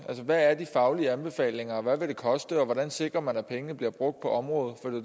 hvad er de faglige anbefalinger og hvad vil det koste og hvordan sikrer man at pengene bliver brugt på området for